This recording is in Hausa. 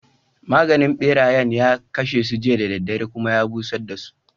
Maganin ɓerayen ya kashe su jiya da daddare, kuma ya busar dasu.